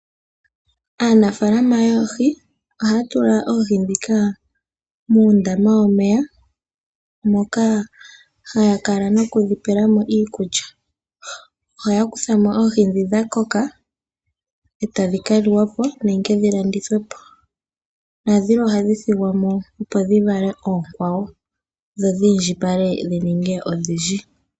Aanafaalama yoohi ohaya tula oohi ndhika muundama womeya moka haya kala nokudhi pela mo iikulya. Ohaya kutha mo oohi ndhi dha koka, eta dhi ka liwa po, nenge dhi landithe po. Dhilwe ohadhi thigwa mo opo dhi vale oonkwawo dhi indjipale dhi ninge odhindji.